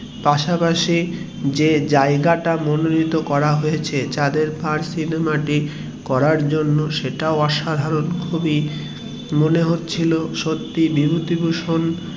পাশাপাশি যে জায়গা টি মনোনীত করা হয়েছে সিনেমা টি করার জন্য সেটিও অসাধারণ সত্যি মনে হচ্ছিলো বিভূতিভূষণ